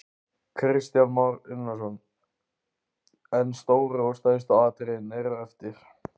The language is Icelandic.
Kristján Már Unnarsson: En stóru og stærstu atriðin eru eftir?